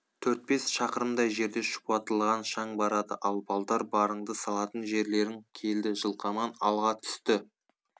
төрт бес шақырымдай жерде шұбатылған шаң барады ал балдар барыңды салатын жерлерің келді жылқаман алға түсті